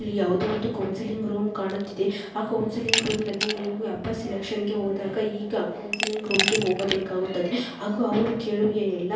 ಯಾವುದೇ ಒಂದು counselling room ಕಾಣ್ತಾ ಇದೆ ಕುನ್ಸಿಲೈನ್ ರೂಮ್ನಲ್ಲಿ ಸೆಲೆಕ್ಷನ್ ಹುದಾಗ ಈ ಕೋನ್ಸಿಲಿಂಗ್ ರೂಮ್ಗೆ ಹೂಗಬೇಕಾಗುತ್ತದೆ ಹಾಗೂ ಅವರೂ ಕೇಳುವ ಎಲ್ಲ.